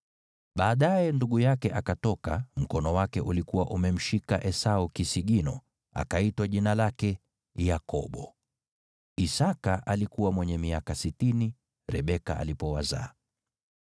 Baadaye, ndugu yake akatoka, mkono wake ukiwa umemshika Esau kisigino; akaitwa jina lake Yakobo. Isaki alikuwa mwenye miaka sitini Rebeka alipowazaa.